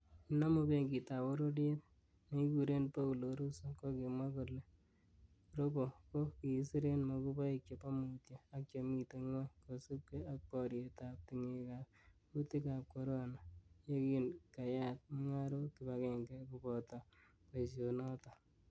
Nenomu Benkitab bororiet nekikuren Poulo Russo, kokimwa kole robo ko kikisiren moguboik chebo mutyo ak chemiten ngwony kosiibge ak borietab tingekab kuutikab corona, yekin keyat mungarok kibagenge ko kabota boisionoton .